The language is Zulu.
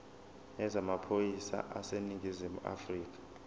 yezamaphoyisa aseningizimu afrika